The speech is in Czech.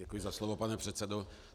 Děkuji za slovo, pane předsedo.